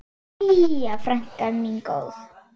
Jæja, frænka mín góð.